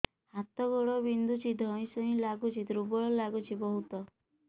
ହାତ ଗୋଡ ବିନ୍ଧୁଛି ଧଇଁସଇଁ ଲାଗୁଚି ଦୁର୍ବଳ ଲାଗୁଚି ବହୁତ